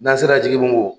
N'an sera jigibongo